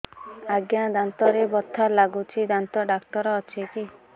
ଆଜ୍ଞା ଦାନ୍ତରେ ବଥା ଲାଗୁଚି ଦାନ୍ତ ଡାକ୍ତର ଅଛି କି